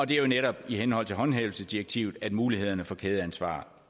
det er netop i henhold til håndhævelsesdirektivet at mulighederne for kædeansvar